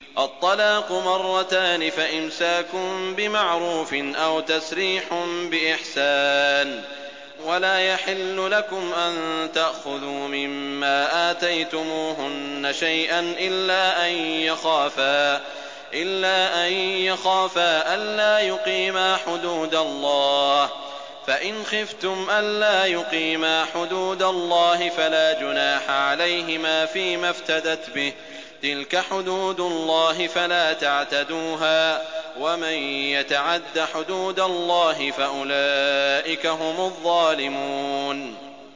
الطَّلَاقُ مَرَّتَانِ ۖ فَإِمْسَاكٌ بِمَعْرُوفٍ أَوْ تَسْرِيحٌ بِإِحْسَانٍ ۗ وَلَا يَحِلُّ لَكُمْ أَن تَأْخُذُوا مِمَّا آتَيْتُمُوهُنَّ شَيْئًا إِلَّا أَن يَخَافَا أَلَّا يُقِيمَا حُدُودَ اللَّهِ ۖ فَإِنْ خِفْتُمْ أَلَّا يُقِيمَا حُدُودَ اللَّهِ فَلَا جُنَاحَ عَلَيْهِمَا فِيمَا افْتَدَتْ بِهِ ۗ تِلْكَ حُدُودُ اللَّهِ فَلَا تَعْتَدُوهَا ۚ وَمَن يَتَعَدَّ حُدُودَ اللَّهِ فَأُولَٰئِكَ هُمُ الظَّالِمُونَ